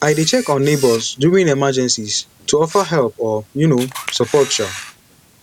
i dey check on neighbors during emergencies to offer help or um support um